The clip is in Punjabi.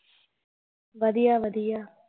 ਵਧੀਆ ਵਧੀਆ